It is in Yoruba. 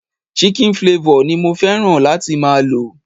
Chicken flavor ni mo fẹ́ràn láti máa lo.